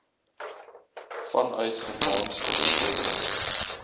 vanuit germaans onderskeidelik